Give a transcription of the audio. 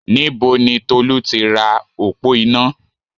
Níbo ni Tolú ti ra òpó iná?